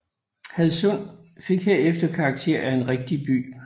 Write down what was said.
Hadsund fik herefter karakter af en rigtig by